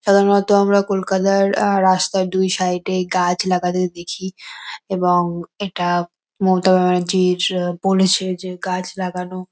সাধারণত আমরা কলকাতার আ রাস্তায় দুই সাইড -এই গাছ লাগাতে দেখি এবং এটা মমতা ব্যানার্জির আ বলেছে যে গাছ লাগানো --